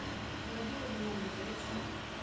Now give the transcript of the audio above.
владимир леонидович